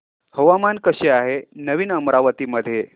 हवामान कसे आहे नवीन अमरावती मध्ये